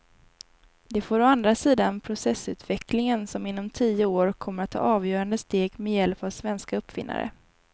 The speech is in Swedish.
Det får å andra sidan processorutvecklingen som inom tio år kommer att ta avgörande steg med hjälp av svenska uppfinnare.